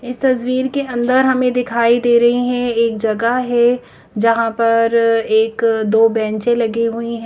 इस तस्वीर के अंदर हमें दिखाई दे रही हैं एक जगह है जहां पर एक दो बेंचें लगी हुई है।